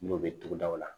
N'o bɛ tugudaw la